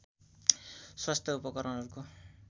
स्वास्थ्य उपकरणहरूको